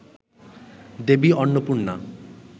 Devi Annapurna